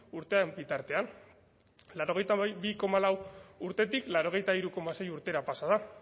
urteen bitartean laurogeita bi koma lau urtetik laurogeita hiru koma sei urtera pasa da